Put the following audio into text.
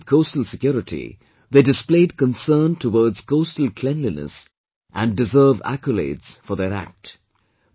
Along with coastal security, they displayed concern towards coastal cleanliness and deserve accolades for their act